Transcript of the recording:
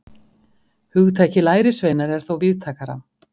hugtakið lærisveinar er þó víðtækara